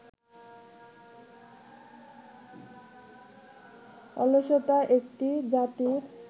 অলসতা একটি জাতির